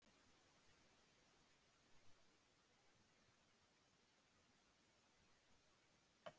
Kristján: Hvernig störfum er það þá?